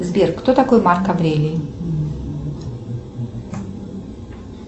сбер кто такой марк аврелий